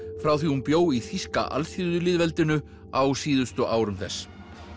frá því hún bjó í þýska alþýðulýðveldinu á síðustu árum þess